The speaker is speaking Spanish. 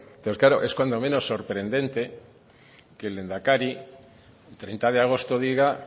entonces claro es cuando menos sorprendente que el lehendakari el treinta de agosto diga